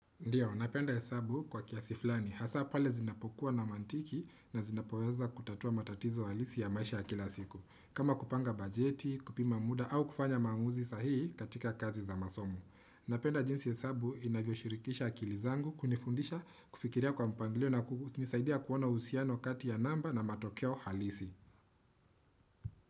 Ndiyo, napenda hesabu kwa kiasi fulani. Hasa pale zinapokuwa na mantiki na zinapoweza kutatua matatizo halisi ya maisha kila siku. Kama kupanga bajeti, kupima muda au kufanya maamuzi sahihi katika kazi za masomo. Napenda jinsi hesabu inavyo shirikisha akilizangu kunifundisha kufikiria kwa mpanglio na kukunisaidia kuona uhusiano kati ya namba na matokeo halisi.